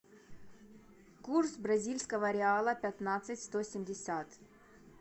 курс бразильского реала пятнадцать сто семьдесят